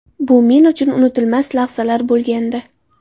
Bu men uchun unutilmas lahzalar bo‘lgandi.